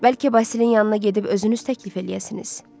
Bəlkə Basilin yanına gedib özünüz təklif eləyəsiniz?